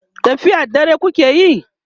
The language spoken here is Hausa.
tafiyar dare kukayi?